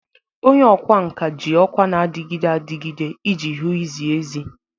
Onye ọkwá nkà ji ọkwa na-adịgide adịgide iji hụ izi ezi.